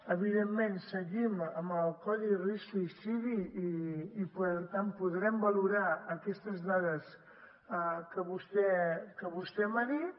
evidentment seguim amb el codi risc suïcidi i per tant podrem valorar aquestes dades que vostè m’ha dit